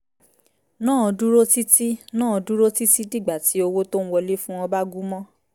náà dúró títí náà dúró títí dìgbà tí owó tó ń wọlé fún wọn bá gúmọ́